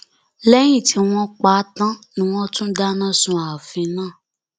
lẹyìn tí wọn pa á tán ni wọn tún dáná sun ààfin náà